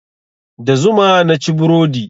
Da zuma naci burodi.